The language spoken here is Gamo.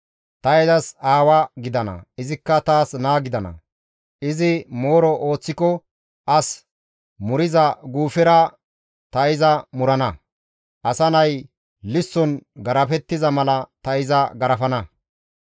Ta izas aawa gidana; izikka taas naa gidana; izi mooro ooththiko as muriza guufera ta iza murana; asa nay lisson garafettiza mala ta iza garafana.